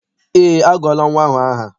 Eé, agụọla nnwa ahụ aha.